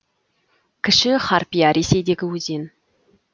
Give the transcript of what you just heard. кіші харпия ресейдегі өзен